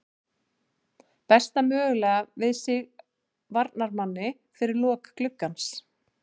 Bæta mögulega við sig varnarmanni fyrir lok gluggans.